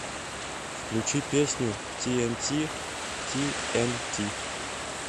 включи песню тиэнти ти эн ти